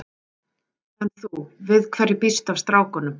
En þú, við hverju býstu af strákunum?